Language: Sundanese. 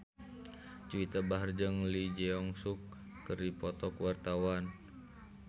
Juwita Bahar jeung Lee Jeong Suk keur dipoto ku wartawan